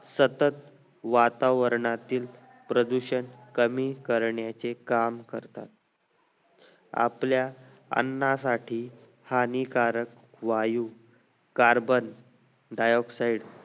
सतत वातावरणातील प्रदूषण कमी करण्याचे काम करतात आपल्या अन्नासाठी हानिकारकवायू carbon dioxide